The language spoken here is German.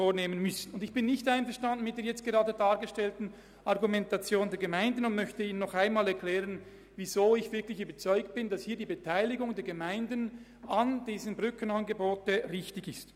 Ich bin mit der vorgebrachten Argumentation der Gemeinden nicht einverstanden und möchte Ihnen nochmals erklären, weshalb ich davon überzeugt bin, dass die Beteiligung der Gemeinden an diesen Brückenangeboten richtig ist.